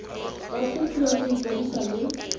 ba kopiwa go ikwadisa le